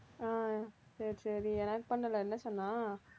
ஆ சரி, சரி எனக்கு பண்ணலை என்ன சொன்னா